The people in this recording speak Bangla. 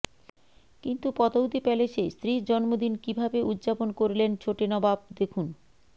কিন্তু পতৌদি প্যালেসে স্ত্রীর জন্মদিন কীভাবে উজ্জাপন করলেন ছোটে নবাব দেখুন